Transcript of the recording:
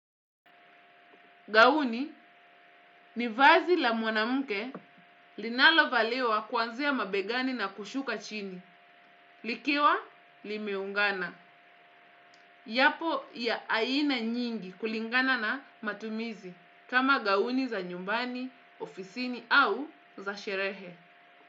Gauni ni vazi la mwanamke linalo valiwa kuanzia mabegani na kushuka chini. Likiwa limeungana yapo ya aina nyingi kulingana na matumizi kama gauni za nyumbani, ofisini au za sherehe.